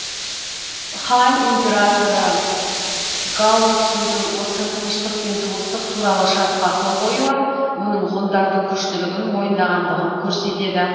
хань императоры гаоцзудың осы тыныштық пен туыстық туралы шартқа қол қоюы оның ғұндардың күштілігін мойындағандығын көрсетеді